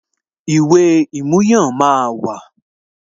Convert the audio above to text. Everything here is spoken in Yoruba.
Ìwé ìmúyàn máa wà